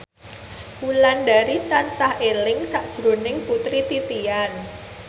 Wulandari tansah eling sakjroning Putri Titian